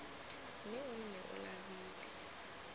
mme o nne o labile